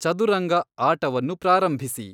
ಚದುರಂಗ ಆಟವನ್ನು ಪ್ರಾರಂಭಿಸಿ